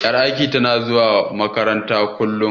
Ƴar aikin tana zuwa wanke farantan, kullum.